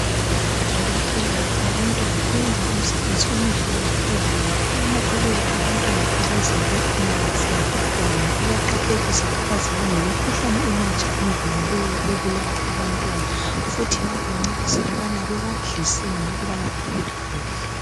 Odokotela wabantwana wenza umsebenzi omuhle kakhulu ngoba anakekela abantwana abazalwe inyanga zingakakwani bayaqaphelisa abazali ngemikhuhlane emitsha engenileyo ebulala abantwana futhi bayabancedisa ukuthi bebadliseni ukubana bakhule kuhle .